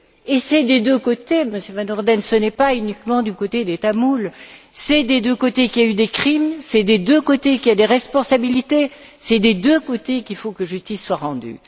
C'est des deux côtés, Monsieur Van Orden, ce n'est pas uniquement du côté des Tamouls, c'est des deux côtés qu'il y a eu des crimes, c'est des deux côtés qu'il y a des responsabilités, c'est des deux côtés qu'il faut que justice soit rendue.